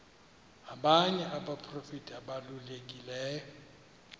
abanye abaprofeti ababalulekileyo